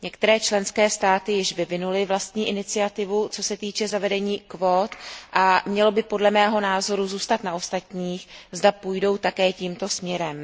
Některé členské státy již vyvinuly vlastní iniciativu, co se týče zavedení kvót, a mělo by, podle mého názoru, zůstat na ostatních, zda půjdou také tímto směrem.